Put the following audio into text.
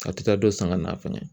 A' tɛ taa dɔ san ŋa na fɛnɛ!